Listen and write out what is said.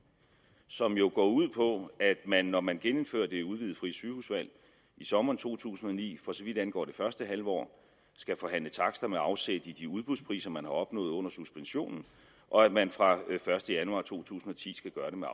som jo går ud på at man når man genindfører det udvidede frie sygehusvalg i sommeren to tusind og ni for så vidt angår det første halvår skal forhandle takster med afsæt i de udbudspriser man har opnået under suspensionen og at man fra den første januar to tusind og ti skal gøre det med